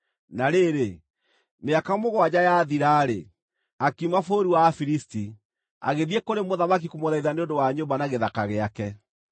Na rĩrĩ, mĩaka mũgwanja yathira-rĩ, akiuma bũrũri wa Afilisti, agĩthiĩ kũrĩ mũthamaki kũmũthaitha nĩ ũndũ wa nyũmba na gĩthaka gĩake.